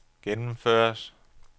gennemføres